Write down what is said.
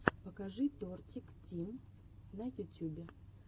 покажи тортик тим на ютюбе